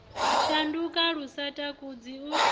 shanduka lu sa takadzi u